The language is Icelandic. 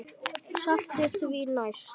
Saltið því næst.